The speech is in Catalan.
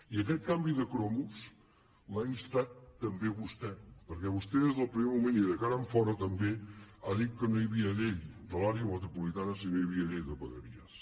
i aquest canvi de cromos l’ha instat també vostè perquè vostè des del primer moment i de cara enfora també ha dit que no hi havia llei de l’àrea metropolitana si no hi havia llei de vegueries